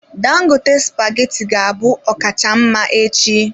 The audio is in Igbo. Dangote spaghetti ga-abụ ọkacha mma echi.